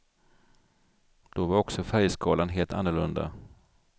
Då var också färgskalan helt annorlunda.